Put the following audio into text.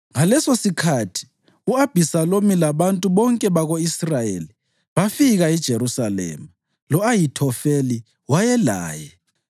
Ngalesosikhathi, u-Abhisalomu labantu bonke bako-Israyeli bafika eJerusalema, lo-Ahithofeli wayelaye.